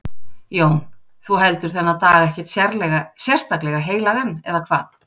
Jón: Þú heldur þennan dag ekkert sérstaklega heilagan, eða hvað?